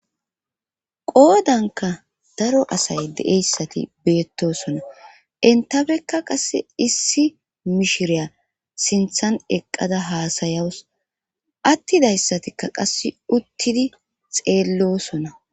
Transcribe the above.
Qoodanka daro asay de'eyssati beettosona intabekka qasse issi mishiriya siinththan eqqada haasayaws attidayssatikka qasse uttidi xeellosona